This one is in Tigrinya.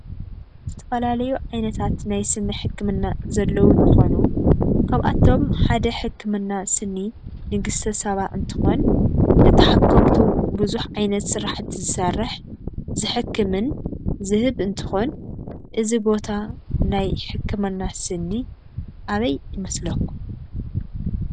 ዝተፈላለዩ ዓይነት ናይ ስኒ ሕክምና ዘለዎ እንትኮኑ ካብአቶም ሓደ ሕክምና ስኒ ንግስተ ሳባ እንትኮን ንተሓከምቱ በዝሕ ዓይነት ስራሕቲ ዝሰርሕ ሕክምን ዝህብ እንትኮን እዚ ቦታ ናይ ሕክምና ስኒ አበይ ይመስለኩም?